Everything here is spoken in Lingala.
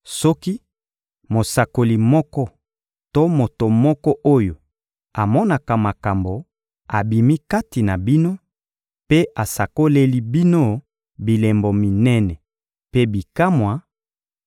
Soki mosakoli moko to moto moko oyo amonaka makambo abimi kati na bino mpe asakoleli bino bilembo minene mpe bikamwa,